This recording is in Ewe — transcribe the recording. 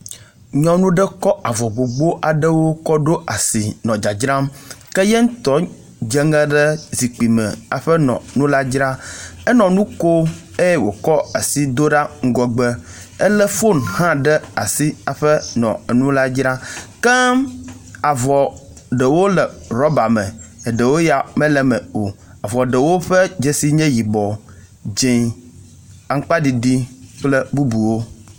Nyɔnu ɖe kɔ avɔ gbogbo ɖewo kɔ ɖo asi nɔ dzadzram ke yeŋtɔ dzeŋe ɖe zikpi me hafi nɔ nu la dzram. Enɔ nu kom eye wokɔ asi ɖa ŋgɔgbe. Ele foni hã ɖe asi hafi nɔ nu la dzram ke avɔ ɖewo le ɖɔba me eɖewo ya me le me o avɔ ɖewo ya ƒe dzesi nye yibɔ, dze, aŋkpaɖiɖi kple bubuwo.